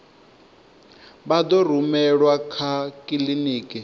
vha ḓo rumelwa kha kiḽiniki